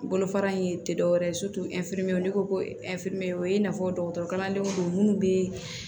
Bolofara in tɛ dɔwɛrɛ ye n'i ko ko o ye i n'a fɔ dɔgɔtɔrɔkalandenw don minnu bɛ